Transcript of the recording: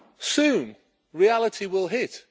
Soon, reality will hit.